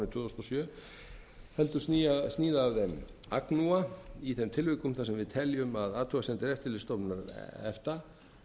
þúsund og sjö heldur sníða af þeim agnúa í þeim tilvikum þar sem við teljum að athugasemdir eftirlitsstofnunar efta